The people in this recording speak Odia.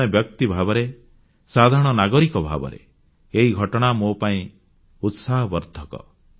ଜଣେ ବ୍ୟକ୍ତି ଭାବରେ ସାଧାରଣ ନାଗରିକ ଭାବରେ ଏହି ଘଟଣା ମୋ ପାଇଁ ଉତ୍ସାହବର୍ଦ୍ଧକ